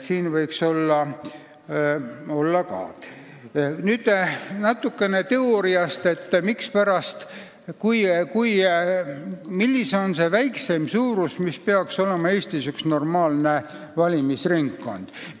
Nüüd natukene teooriast, sellest, mis on see väikseim suurus, milline peaks olema Eestis üks normaalne valimisringkond.